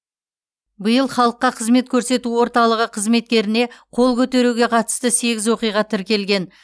биыл халыққа қызмет көрсету орталығы қызметкеріне қол көтеруге қатысты сегіз оқиға тіркелген